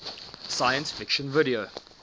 science fiction video